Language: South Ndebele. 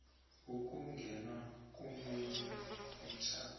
ukungena komunye umtjhado